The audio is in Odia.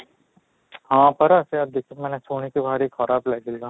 ହଁ, ପରା ସେଇୟା ଦେଖି ମାନେ ଶୁଣିକି ଭାରି ଖରାପ ଲାଗିଲା